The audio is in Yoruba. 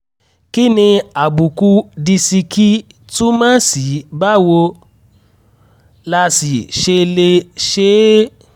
kí ni àbùkù disiki túmọ̀ sí báwo la sì ṣe lè ṣe é?